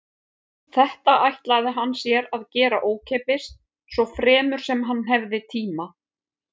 Þetta ætlaði hann sér að gera ókeypis svo fremur sem hann hefði tíma.